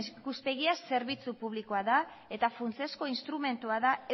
ikuspegia zerbitzu publikoa da eta funtsezko instrumentua da